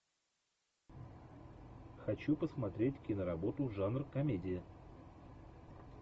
хочу посмотреть киноработу жанр комедия